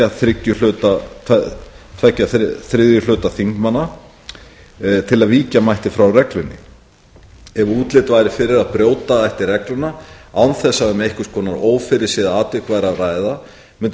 þriðju hluta þingmanna til að víkja mætti frá reglunni ef útlit væri fyrir að brjóta ætti regluna án þess að um einhvers konar ófyrirséð atvik væri að ræða mundi